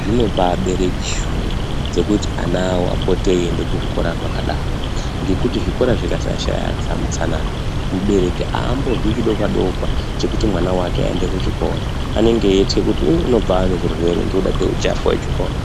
zvinobaape shungu dzekuti ana apote eiende kuzvikora zvakadaro ngekuti chikora chikashaya utsanana mubereki aambonzwi chidokwa dokwa chekuti mwana wake aende kuchikora. Anenge eitya kuti ummm mwana wakwe unotobve aane zvirwere ngekuda kweuchapa hwepachikora.